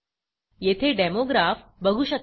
येथे demo graph बघू शकता